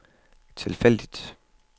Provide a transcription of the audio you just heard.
tilfældig